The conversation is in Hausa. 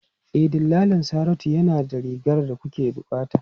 E, dillalin Saratu yana da rigar da kuke bukata.